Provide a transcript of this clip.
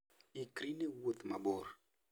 Ikri ne wuoth mabor.